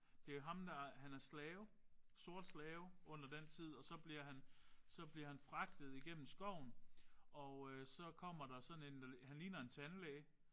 Det er ham der han er slave. Sort slave under den tid. Og så bliver han så bliver han fragtet igennem skoven og så kommer der sådan en han ligner en tandlæge